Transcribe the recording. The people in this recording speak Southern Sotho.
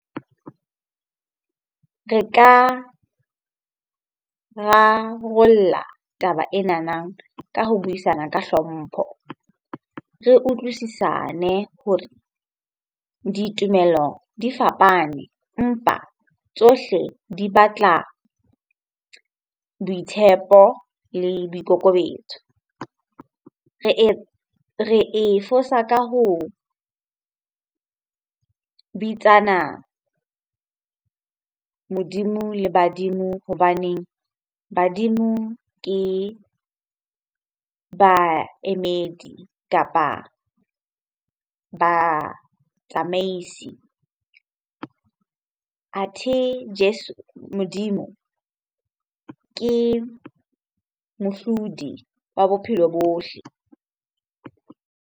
Re ka rarollla taba enana ka ho buisana ka hlompho, re utlwisisane hore ditumelo di fapane empa tsohle di batla boitshepo le boikokobetso. Re e fosa ka ho bitsana Modimo le badimo hobaneng badimo ke baemedi kapa batsamaisi. Athe Jeso, Modimo ke mohlodi wa bophelo bohle.